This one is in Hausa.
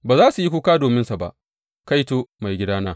Ba za su yi kuka dominsa ba, Kaito, maigidana!